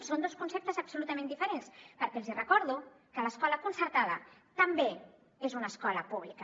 són dos conceptes absolutament diferents perquè els hi recordo que l’escola concertada també és una escola pública